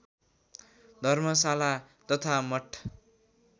धर्मशाला तथा मठ